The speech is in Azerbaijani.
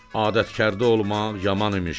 Adətkarda olmaq yaman imiş.